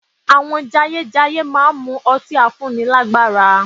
Àwọn jayéjayé máa mu ọtí afúnnilágbàra